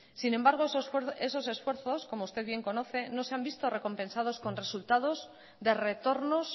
sin embargo esos esfuerzos como usted bien conoce no se han visto recompensados con resultados de retornos